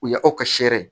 U ya aw ka sere